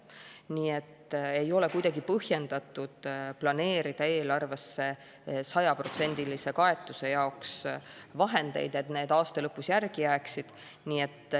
Nii et ei ole kuidagi põhjendatud planeerida eelarvesse sajaprotsendilise kaetuse jaoks vahendeid, et need aasta lõpus järgi jääksid.